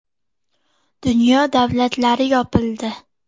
“Dunyo davlatlari yopildi.